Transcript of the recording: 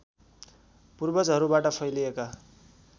पूर्वजहरूबाट फैलिएका